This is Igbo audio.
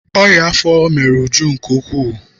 Ọnyá afọ mere Uju nke ukwuu.